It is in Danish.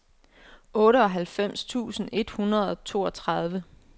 otteoghalvfems tusind et hundrede og toogtredive